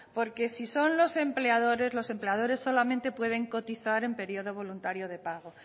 porque si son los empleadores los empleadores solamente pueden cotizar en periodo voluntario de pago